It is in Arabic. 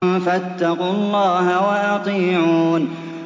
فَاتَّقُوا اللَّهَ وَأَطِيعُونِ